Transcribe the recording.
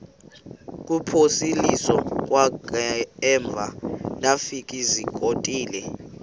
kuphosiliso kwangaemva ndafikezizikotile